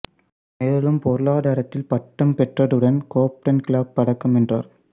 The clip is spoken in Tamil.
மேலும் பொருளாதாரத்தில் பட்டம் பெற்றதுடன் கோப்டன் கிளப் பதக்கம் வென்றார்